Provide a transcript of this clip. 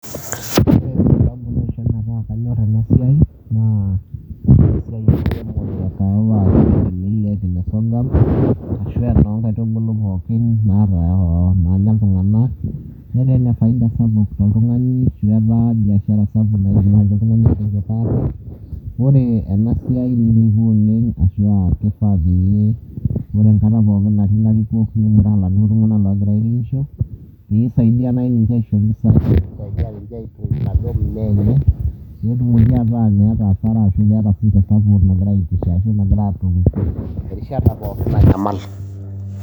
Wore sababu nishoo metaa kanyorr enasiai, naa wore enasiai enkiremore ekahawa , millet oo sorghum ashu enoo ngaitubulu pookin naanya iltunganak netaa enefaida sapuk tooltungani oishu amu etaa biashara sapuk naibungakaki iltunganak iltunganak meibunga aate. Wore enasiai nilupua oleng ashua kifaa peyie wore enkata pookin natii ilarikok ninguraa iladuo tunganak ogira airemisho peyie isaidia nai ninje aisho impisai, naisaidia ninje aitoi naduo mimea enye peyie meta meeta aasara ashua support nagira aitisha arishata pookin nanyamal.